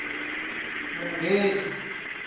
munghezi